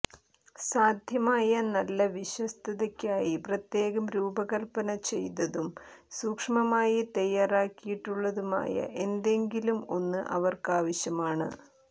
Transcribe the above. സാധ്യമായ നല്ല വിശ്വസ്തതയ്ക്കായി പ്രത്യേകം രൂപകൽപ്പന ചെയ്തതും സൂക്ഷ്മമായി തയ്യാറാക്കിയിട്ടുള്ളതുമായ എന്തെങ്കിലും ഒന്ന് അവർക്കാവശ്യമാണ്